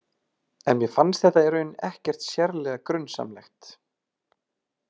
En mér fannst þetta í raun ekkert sérlega grunsamlegt.